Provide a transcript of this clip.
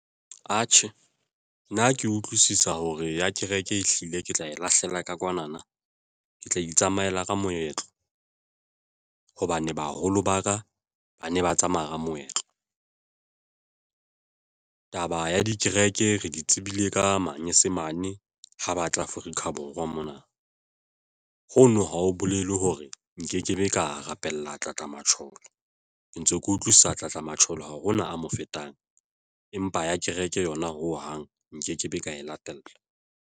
Atjhe, nna ke utlwisisa hore ya kereke, ehlile ke tla e lahlela ka kwana na ke tla itsamayela ka moetlo, hobane baholo ba ka ba ne ba tsamaya ka moetlo. Taba ya dikereke re di tsebile ka manyesemane ho batla Afrika Borwa mona. Hono ha ho bolele hore nkekebe ka rapella tlatlammatjhoro ke ntse ke utlwisisa tlatlammatjhoro hao hona a mo fetang, empa ya kereke yona ho hang nkekebe ka e latella.